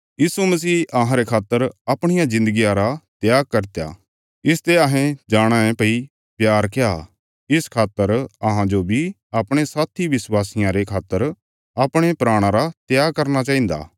यीशु मसीह अहांरे खातर अपणिया जिन्दगिया रा त्याग करित्या इसते अहें जाणाँ ये भई प्यार क्या इस खातर अहांजो बी अपणे साथी विश्वासियां रे खातर अपणे प्राणां रा त्याग करना चाहिन्दा